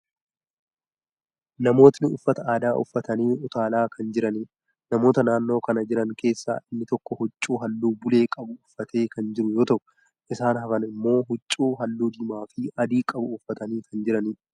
Namootni uffata aadaa uffatanii utaalaa kan jiraniidha. Namoota naannoo kana jiran keessaa inni tokko huccuu haalluu bulee qabu uffatee kan jiru you ta'u, isaan hafan immoo huccuu haalluu diimaa fi adii qabu uffatanii kan jiraniidha.